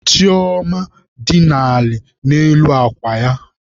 Chioma dina ala n'elu akwa ya.